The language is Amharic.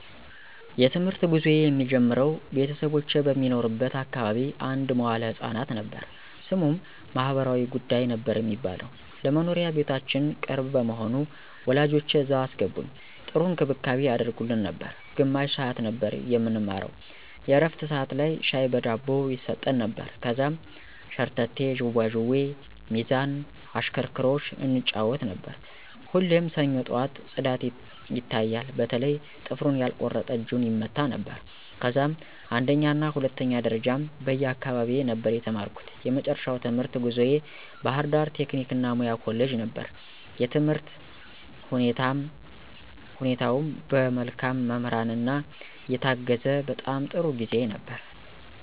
የ ትምህርት ጉዞየ የሚጀምረው ቤተሰቦቼ በሚኖሩበት አካባቢ አንድ መዋለ ህፃናት ነበር። ስሙም ማህበራዊ ጉዳይ ነበር የሚባለው። ለ መኖሪያ ቤታችን ቅርብ በመሆኑ ወላጆቼ እዛ አስገቡኝ .ጥሩ እንክብካቤ ያደርጉልን ነበር። ግማሽ ሰዓት ነበር የምንማረው የ ዕረፍት ሠዓት ላይ ሻይ በ ዳቦ ይሰጠን ነበር። ከዛም ሸርተቴ, ዥዋዥዌ, ሚዛን ,እሽክርክሮሽ እንጫወት ነበር። ሁሌም ሰኞ ጠዋት ፅዳት ይታያል በተለይ ጥፍሩን ያልቆረጠ እጁን ይመታ ነበረ። ከዛም አንደኛና ሁለተኛ ደረጃም በ አካባቢየ ነበር የተማርኩ። የመጨረሻው የትምህርት ጉዞየ ባ ህርዳር ቴክኒክ እና ሙያ ኮሌጅ ነበር። የትምህርት ሁኔታውም በ መልካም መምህራን የታገዘ በጣም ጥሩ ጊዜ ነበር።